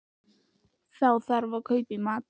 Þá þarf að kaupa í matinn